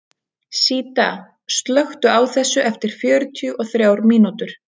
Síta, slökktu á þessu eftir fjörutíu og þrjár mínútur.